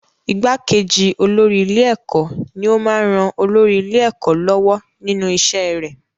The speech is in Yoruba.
Igbákejì olórí ilé-ẹ̀kọ́ ní ó máa ń ran olórí ilé-ẹ̀kọ́ lọ́wọ́ nínú iṣẹ́ rẹ̀.